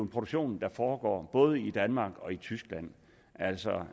produktion der foregår både i danmark og i tyskland altså